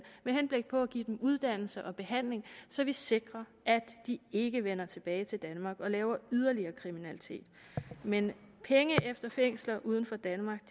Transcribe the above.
med henblik på at give dem uddannelse og behandling så vi sikrer at de ikke vender tilbage til danmark og laver yderligere kriminalitet men penge til fængsler uden for danmark